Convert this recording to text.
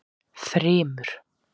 Þrymur